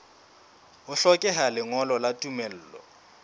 ho hlokeha lengolo la tumello